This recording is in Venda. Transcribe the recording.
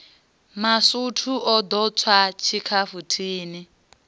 masutu o ḓo tswa tshikhafuthini